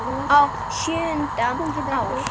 Á sjöunda ári